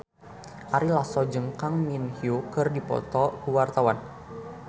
Ari Lasso jeung Kang Min Hyuk keur dipoto ku wartawan